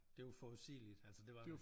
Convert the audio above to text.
Det var forudsigeligt altså det var det